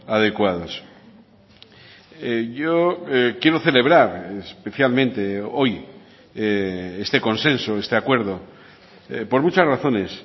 adecuados yo quiero celebrar especialmente hoy este consenso este acuerdo por muchas razones